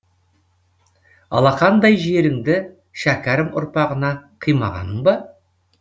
алақандай жеріңді шәкәрім ұрпағына қимағаның ба